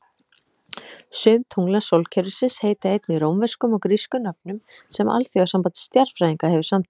Sum tungla sólkerfisins heita einnig rómverskum og grískum nöfnum sem Alþjóðasamband Stjarnfræðinga hefur samþykkt.